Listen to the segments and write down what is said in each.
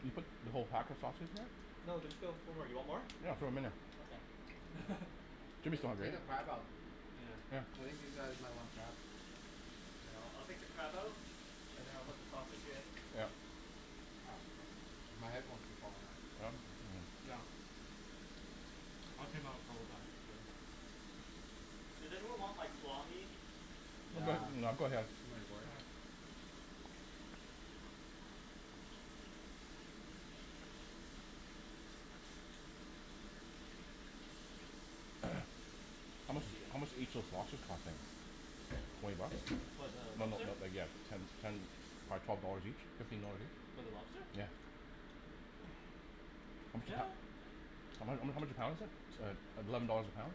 Did you put the whole pack of sausage there? No, there's still four more, you want more? Yeah, throw 'em in there. Okay. Jimmy's Ta- still hungry take the right? crab out, Yeah. I think these guys might want crab. Yeah, I'll I'll take the crab out? And then I'll put the sausage in. Yeah. Ah, my headphones keep falling out. Yeah. Does anyone want like claw meat? Nah, That's okay. too much work. How much, how much, did each those lobster cost then? Twenty bucks? No no no then yeah, ten t- ten or twelve dollars each? Fifteen dollars each? For the lobster? Yeah. Yeah How h- how how much a pound is it? Eleven dollars a pound?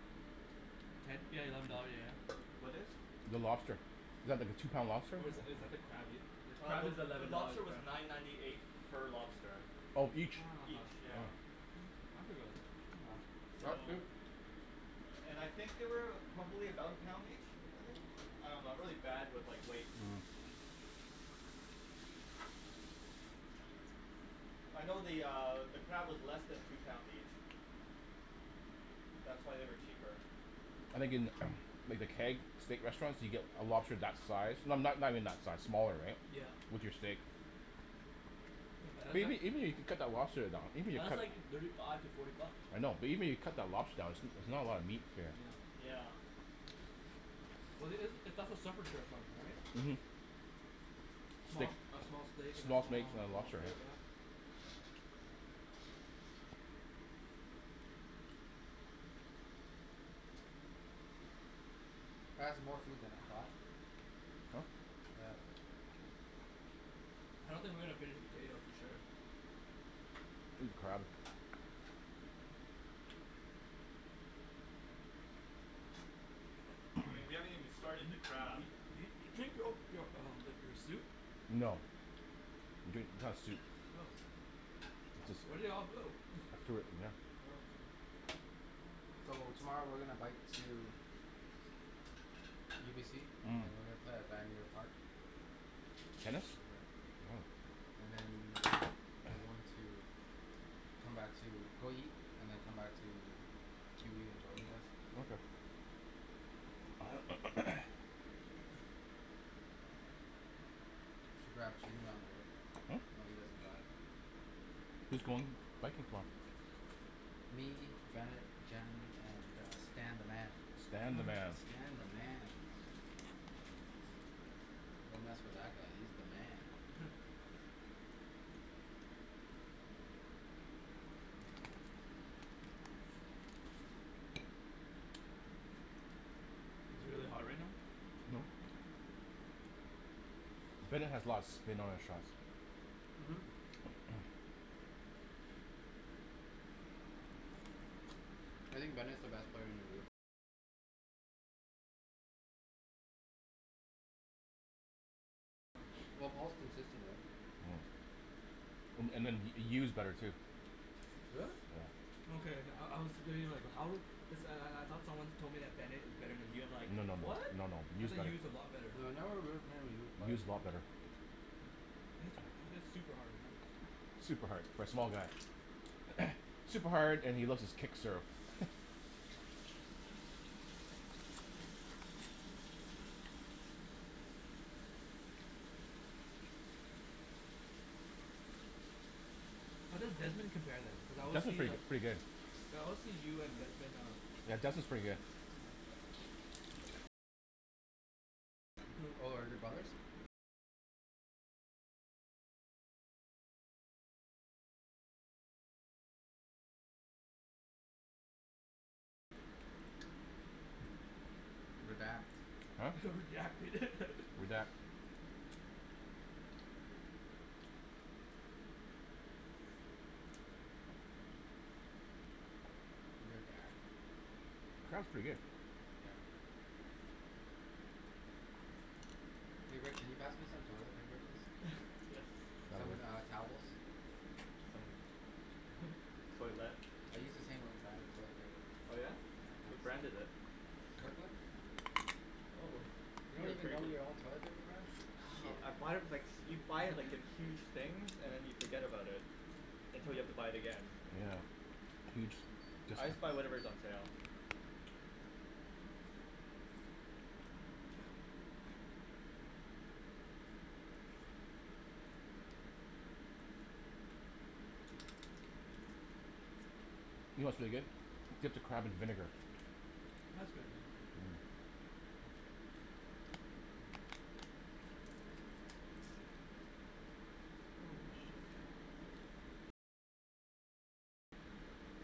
Ten? Yeah eleven dollar, yeah yeah What is? The lobster. Is that the two pound lobster? Or is that, is that the crab, the Uh crab the is the eleven dollars lobster a was pound. nine ninety eight per lobster. Ah Oh each? huh. Each, yeah. That's pretty good, that's not bad. That's So, cheap! and I think they weigh about, probably about a pound each? I think? I dunno, I'm really bad with like, weights. Mm. I know the uh, the crab is less than two pounds each. That's why they were cheaper. I think in like the Keg, steak restaurants, you get a lobster for that size, no- no- not even that size, smaller right, Yeah. with your steak Yeah but that's Even even even if you cut the lobster down, even if li- , you that's cut, like thirty five to forty bucks. I know, but even if you cut the lobster down, there's s- not a lot of meat here. Yeah. Yeah. Well it's it's a, that's a surf and turf menu Mhm right Steak, a small steak and a small steaks small and a lobster lobster, right yeah? That was more food than I thought. Huh? Yeah. I don't think we're gonna finish the potatoes for sure. Even crab. I mean, we haven't even started the crab. drink yo- , your soup? No. I'm drinking the soup. Oh, where'd it all go? I threw it in there. So, tomorrow we're gonna bike to UBC. Mm And we're going to play at Vanier park. Tennis? Mhm Yeah, and then, we're going to come back to go eat, and then come back to q e and Jordan's house. Okay Should grab Jimmy on the way, Hm? I know he doesn't drive. Who's going biking tomorrow? Me, Bennett, Jen, and uh Stan the man. Stan the man Stan the man! Don't mess with that guy, he's the man. Is it really hot right now? No Bennett has lots of spin on his shots. Mhm Well Paul's consistent right Mm And and then Y- Yu's better too. Really? Okay, I I was debating like how good, cuz then I I thought someone once told me that Bennett is better than Yu, I'm like, No no no, "What?", no no, I Yu's thought better. Yu is a Well lot better. right now Yu's a lot better. He hits, he hits super hard man Super hard, for a small guy super hard, and he loves his kick serve How does Desmond compare then? Cuz I always Desmond's see pretty uh, pretty good, I always see Yu and Desmond uh yeah, Desmond's pretty good. Yeah. Oh are they brothers? Redact Huh? Redact it Redact. Crab's pretty good. Yeah. Hey Rick can you pass me some toilet paper please? Yes. Some uh, towels? Some, toilette. I use the same brand of toilet paper. Oh yeah? Yeah, What thanks. brand is it. Kirkland? Oh, You you don't have even grea- know your own toilet paper brand? , oh, I buy it with like, you buy it like in huge things and then you forget about it. Until you have to buy it again. Yeah, huge I just buy discount. whatever is on sale. You know what's really good? Dip the crab in vinegar. Mm Holy shit.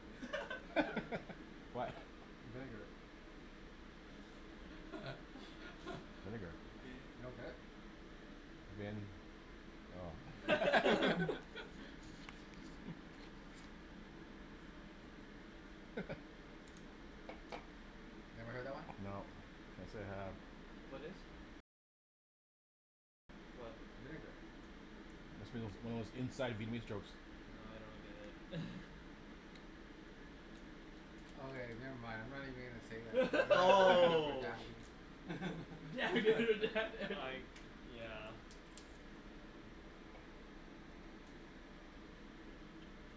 What? Vinegar. Vinegar You don't Vin get it? Vin, oh. Never heard that one? No, can't say I have. What is? What? Vinegar It's one of Vietnamese inside jokes. Nah I don't get it Okay never mind, I'm not even going to say that, you all are Oh! bashing it I, yeah.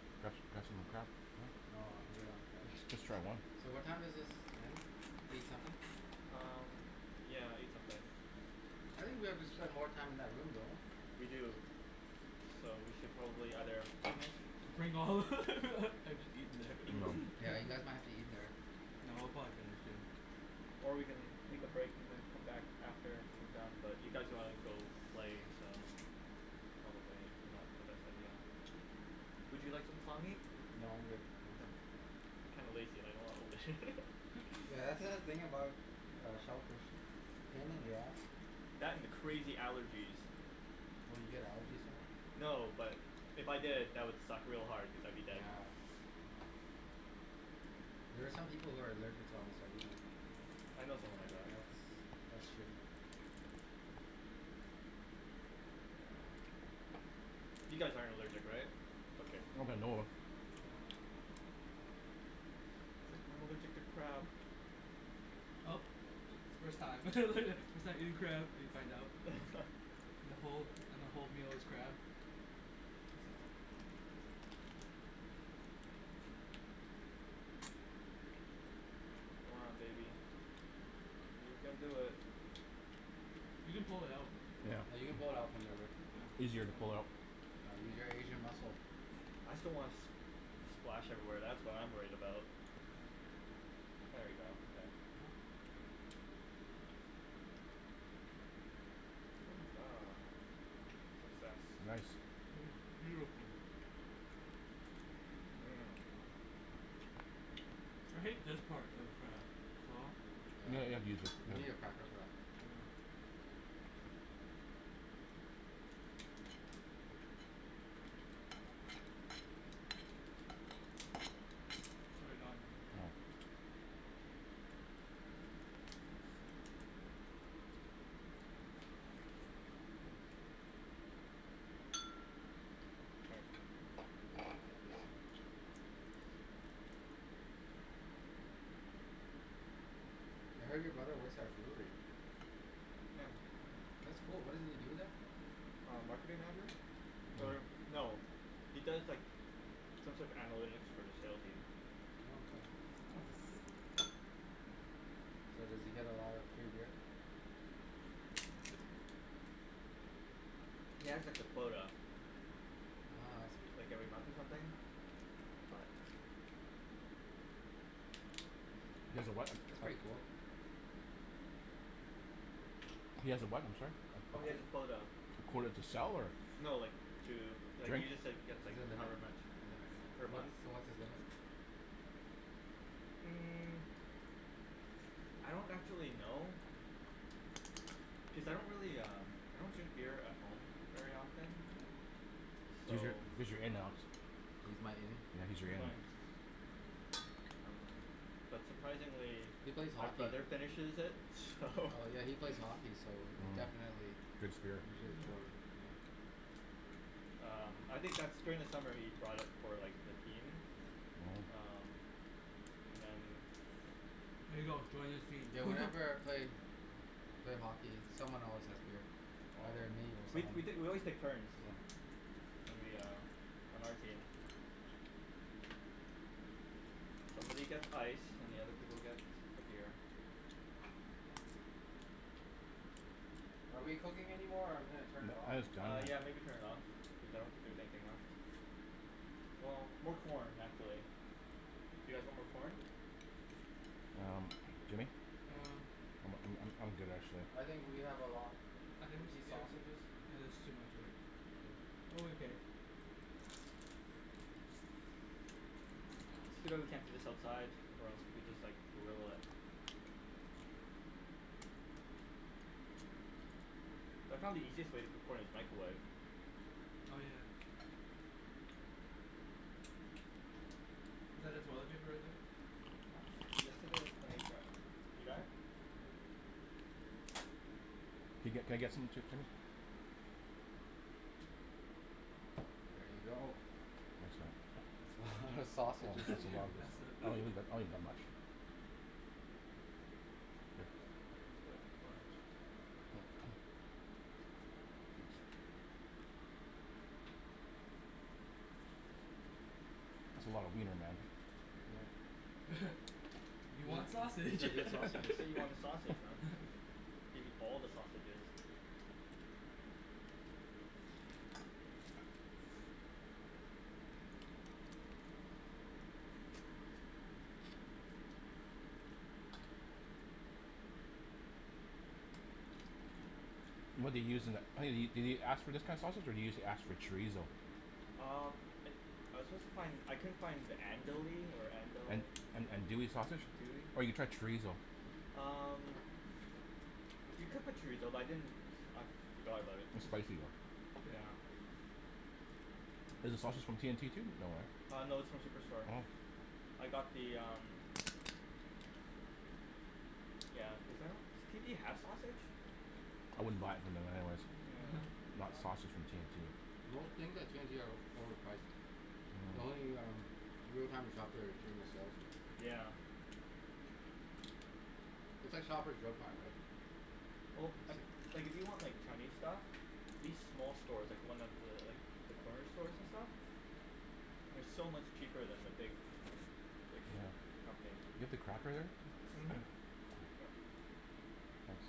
grab some more crab. No, I'm good on crab. Just just try one. So what time is this done? Eight something? Um, yeah, eight something. I think we have to spend more time in that room, don't we? We do, so we should probably either finish Bring all and just eat it eating. No there Yeah, you guys might have to eat in there. No we'll probably finish soon. Or we can take a break and then come back after we're done but you guys wanna go play, so, probably not the best idea. Would you like some claw meat? No, I'm good. I'm kinda lazy and I don't wanna open it. That's the thing about uh shellfish, it's a pain in the ass. That and the crazy allergies Oh you get allergies from them? No, but if I did, that would suck real hard cuz I'd be dead. Yeah. There are some people who are allergic to almost everything. I know someone like that. That's, that's shitty. You guys aren't allergic, right? Okay. Not that I know of. Nah. I'm allergic to crab! Oh, first time first time eating crab and you find out, and the whole, the whole meal is crab. Come on baby. You can do it. You can pull it out. Yeah, Yeah, you you can can pull pull it it out. out from there, Rick. Easier to pull it out. Uh use your Asian muscle. I just don't wanna s- the splash everywhere, that's what I'm worried about. There we go, okay. Success. Nice. Yes, beautiful. Mhm. I hate this part of uh the claw Yeah, you need a cracker for that Get it done. I heard your brother works at a brewery. Yeah. That's cool, what does he do there? Um, marketing manager? Er, no, he does like, some sort of analytics for the sale team. Oh okay. So does he get a lot of free beer? He has like a quota. Ah I see. Like every month or something, but That's pretty cool. He has a what, I'm sorry? Oh he has a quota, A quota to sell or? no like, to, like, Drink he just like, gets like, however much per month. So what's his limit? Mm, I don't actually know, cuz I don't really um, I don't drink beer at home very often, so He's your, he's your in, Alex. He's my in? Yeah, he's your in. um, but surprisingly, He plays my hockey. brother finishes it, so Oh yeah, he plays hockey so definitely Free spirit Drinks quota Um, I think that's, during the summer, he brought it for like the team, um, and then Here you go, join his team. Yeah, whenever I play, played hockey, someone always has beer, Oh, either me or we someone t- , we, always took turns, Yep. when we um, on our team. Somebody gets ice, and the other people get the beer. Are we cooking anymore or I'm gonna turn it off Uh yeah maybe turn it off, cuz I don't think there's anything left. Well, more corn actually. Do you guys want more corn? Um, Jimmy? Um I'm I'm I'm good actually. I think we have a lot, I think we want these sh- yeah, sausages? it is too much, Rick, I'm okay. It's too bad we can't do this outside, or else we could just like, grill it. I found the easiest way to cook corn is microwave. Oh yeah. Is that the toilet paper right there? Yes it is, can you gr- . You got it? Yeah. Can I, can I get, can I get some Jim- Jimmy? There you go. Thanks man. That's a lot of That's sausages. You are a lot of, I won't messy eat that, I won't eat that much. I just put a bunch. That's a lot of wiener man. Yeah. You want Yeah, you sausage got You sausages. said you want the sausage, man. Give you all the sausages. What do you use in tha- did you ask for this kind of sausage or did you ask for chorizo? Um, I, I was supposed to find, I couldn't find, andouille or andel- An- , andouille sausage? andouille? Or you tried chorizo Um, you could put chorizo but I didn't, I forgot about it It's spicy though. Yeah. Is the sausage from T&T too? No Uh no, it's from Superstore. Hm I got the um, yeah cuz I don't, does T&T have sausage? I wouldn't buy it from them anyways. Yeah. Not sausage from T&T Most things at T&T are over overpriced. The only um the only time we shop there is during the sales. Yeah. It's like Shopper's Drug Mart right? Well, like, like, if you want like Chinese stuff, these small stores, like the ones th- like, the corner stores and stuff? They're so much cheaper than the big, big Yeah, companies. you have the cracker there? Mhm. Thanks.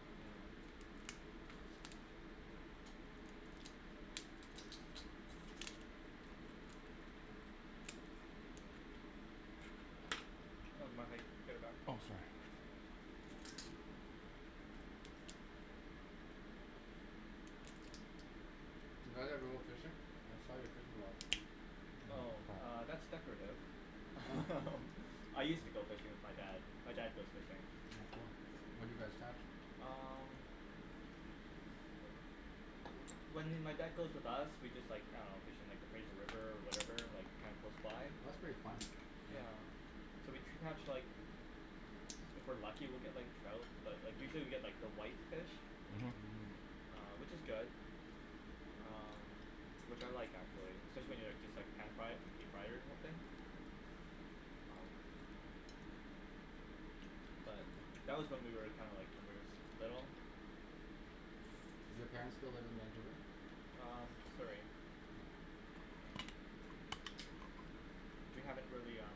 Oh that's my plate, I'll get it back. Oh sorry Did you guys ever go fishing? I saw your fishing rod. Oh, uh, that's decorative Oh. I used to go fishing with my dad, my dad goes fishing. Oh cool. What do you guys catch? Um, when m- my dad goes with us, we just like, I dunno, just fish in like the Fraser River, whatever, like kinda close Oh by? that's pretty fun. Yeah, so we catch like, if we're lucky we get like trout, but like usually we get like the white fish Mhm which is good. Um, which I like actually. Especially when you like just like pan fry it or deep fry it or something? But, that was when we were like kinda like when we were s- little. Do your parents still live in Vancouver? Um, Surrey. We haven't really um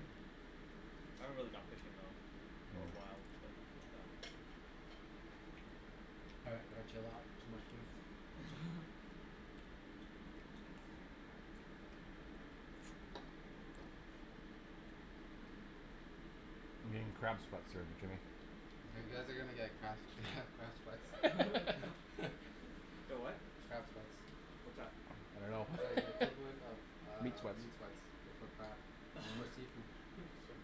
I haven't really gone fishing though, for a while, but it's fine. All right gonna chill out. Too much food. I'm getting crab sweats here, Jimmy. You guys are gonna get crap crab sweats Get what? Crab sweats. What's that? I dunno It's like the equivalent of Meat um sweats meat sweats but for crab. For seafood. meat sweats.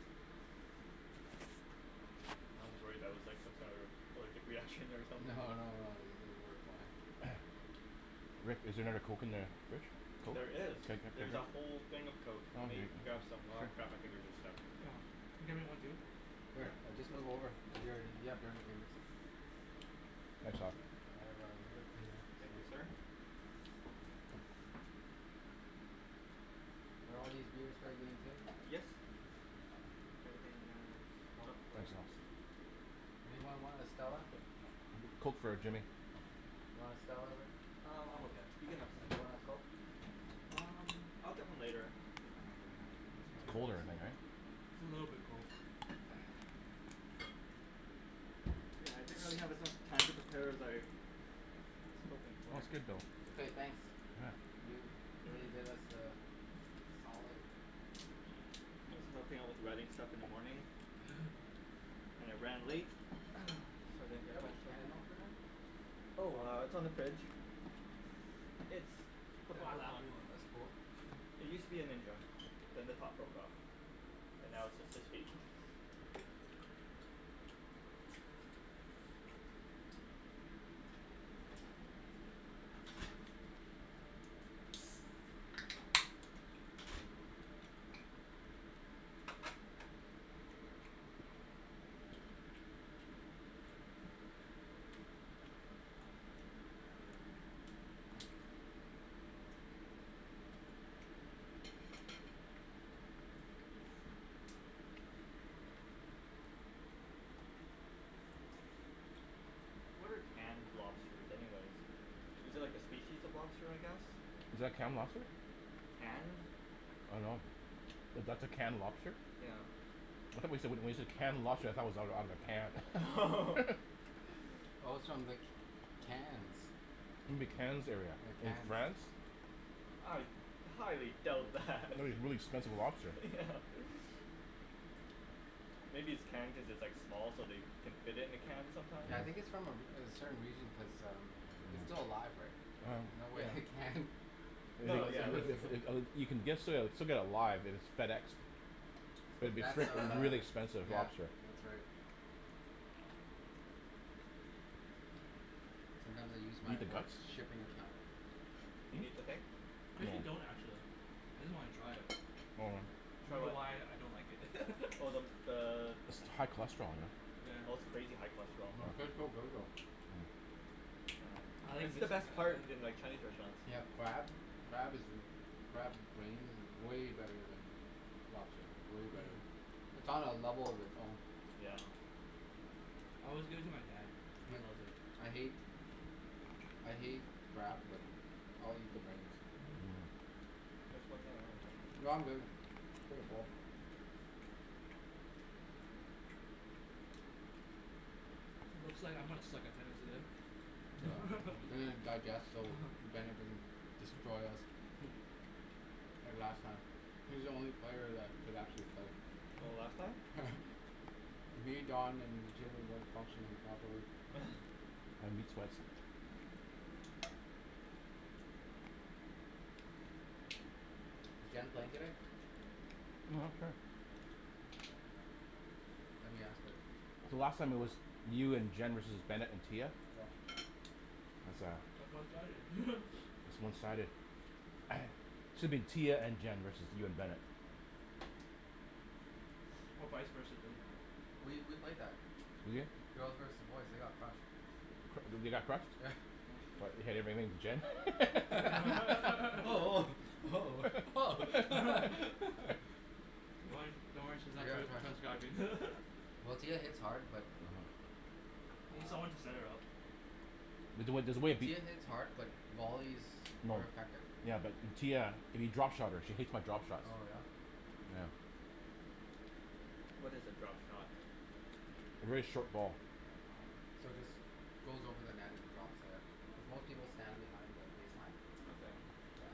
I was worried that was like some sort of allergic reaction or No something. no no worries, we're fine. Rick, is there another Coke in the fridge? There is, there's a whole thing of Coke, let me grab some, aw crap, my fingers are stuck. Oh, can you get me one too? Sure, I'll just move over, you a- you have dirty fingers. Thanks Al I have a little bit cleaner Thank you so sir. Are all these beers for our game too? Yes. Anything in there is Oh. up for Anyone want a Stella? Coke for Jimmy. You wanna Stella Rick? Um I'm okay, you can have Want a Coke? Um I'll get one later. It's colder in there right? It's a little bit cold. Yeah I didn't really have a chance to prep- prepare better. Okay. Okay thanks. You really did us a solid. I was helping with the writing stuff in the morning. And it ran late. Is there a can opener? Oh it's on the fridge. It's the black one. That's cool. It used to be a ninja. Then the top broke off. And now it's just his feet. What are canned lobsters anyways? Is it like a species of lobster I guess? Is that canned lobster? Canned. I don't know. That's a canned lobster? Yeah. I though wen- when you said canned lobster I though it was out- Oh. Oh. outta a can. Oh it's from the Cannes. You mean the Cannes area, The in Cannes. France? I highly doubt that. That would be really expensive lobster. Yeah. Maybe it's canned because it's like small so they can fit in a can sometimes. Yeah I think its from a re- a certain region cuz um its still alive, Oh. no Yeah. way it canned. No yeah it's uh You can ge- still get it live, you know, it's FedExed. Is And would be that's still uh, really expensive yeah, lobster. that's right. Sometimes I use my work's shipping account. Do you need the thing? Cuz you don't actually I just wanna try it. Hold on. I For don't know what? why I don't like it. Oh the the High cholesterol. Oh it's crazy high cholesterol. It's the best part in like Chinese restaurants. They have crab, crab is crab's brains is way better then lobster, way better. It's on a level of its own. Yeah. I always give it to my dad he loves it. I hate I hate crab but I'll eat the brains. No I'm good, pretty full. Looks like I'm gonna suck at tennis there. digest so Bennet doesn't destroy us like last time he's the only player that could actually play. Oh last time? Yeah. Me, Don and Jimmy weren't functioning properly. Is Jen playing today? Lemme ask her. So last time it was you and Jen versus Bennet and Tia? Yeah. That's one sided. It's one sided. Shoulda been Tia and Jen versus you and Bennett. Or vise versa doesn't matter. We we play better. You did? Girls versus boys they got crushed. They they got crushed? What your Jen. woah Oh Oh woah, woah oh Don't worry don't worry she's Oh not yeah ca- Well Tia hits hard but Oh She's need someone to Ah set it up. There's there's a way. Tia hits hard but volleys more More. effective. Yeah but Tia you drop shot her she hates my drop shots. Oh yeah. What is a drop shot? Really short ball. Yeah. So it just goes over the net and drops there. Most people stand behind the baseline. Okay. Yeah.